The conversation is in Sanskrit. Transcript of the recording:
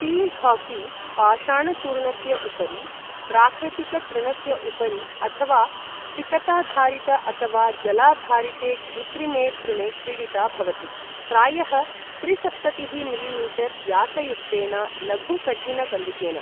फील्ड् हाकी पाषाणचूर्णस्य उपरि, प्राकृतिकतृणस्य उपरि, अथवा सिकताधारित अथवा जलाधारिते कृत्रिमे तृणे क्रीडिता भवति, प्रायः त्रिसप्ततिः मिलिमीटर् व्यासयुक्तेन लघु कठिन कन्दुकेन।